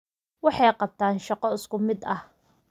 Waxay qabtaan shaqo isku mid ah